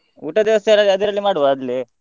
ಊಟದ ವ್ಯವಸ್ಥೆ ಎಲ್ಲ ಅದರಲ್ಲೇ ಮಾಡುವ ಅಲ್ಲೇ.